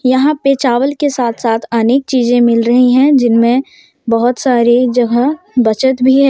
यहां पे चावल के साथ साथ अनेक चीजें मिल रही हैं जिनमें बहुत सारी जगह बचत भी है।